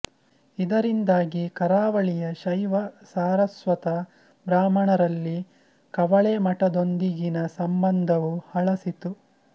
ಇದರಿಂದಾಗಿ ಕರಾವಳಿಯ ಶೈವ ಸಾರಸ್ವತ ಬ್ರಾಹ್ಮಣರಲ್ಲಿ ಕವಳೆ ಮಠದೊಂದಿಗಿನ ಸಂಬಂಧವೂ ಹಳಸಿತು